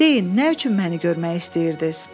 Deyin, nə üçün məni görmək istəyirdiniz?